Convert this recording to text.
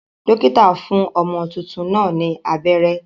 Dókítà fún ọmọ tuntun náà ni abẹ́rẹ́.